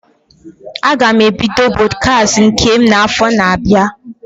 Aga m ebido Pọdkast nke m na afọ na abịa